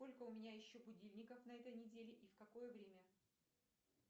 сколько у меня еще будильников на этой неделе и в какое время